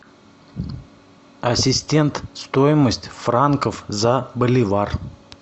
ассистент стоимость франков за боливар